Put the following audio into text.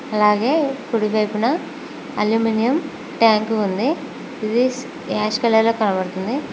అలాగే కుడివైపున aluminium tank ఉంది ఇది యాష్ కలర్ లో కనబడుతుంది.